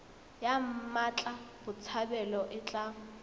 ya mmatla botshabelo e tla